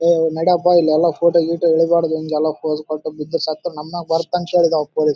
ನಿನಗೆ ನೀರಿನ ಬಣ್ಣ ಹಸಿರು ಮತ್ತು ಕಪ್ಪಾಗಿ ಕಾಣುತ್ತಿದೆ.